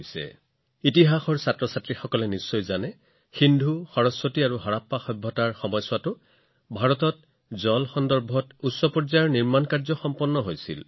একেদৰে ইতিহাসৰ শিক্ষাৰ্থীসকলে জানিব যে সিন্ধুসৰস্বতী আৰু হৰপ্পা সভ্যতাৰ সময়তো ভাৰতত পানীক লৈ কিমান উন্নত অভিযান্ত্ৰিক কাম কৰা হৈছিল